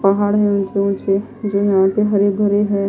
पहाड़ हैऊंचे ऊंचे जो यहां से हरे भरे है।